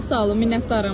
Çox sağ olun, minnətdaram.